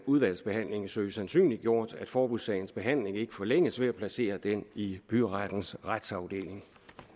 udvalgsbehandlingen søge sandsynliggjort at forbudssagens behandling ikke forlænges ved at placere den i byrettens retsafdeling